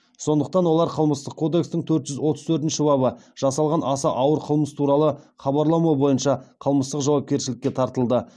сондықтан олар қылмыстық кодекстің төрт жүз отыз төртінші бабы жасалған аса ауыр қылмыс туралы хабарламау бойынша қылмыстық жауапкершілікке тартылды